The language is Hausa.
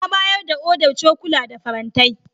Ya bayar da odar cokula da farantai.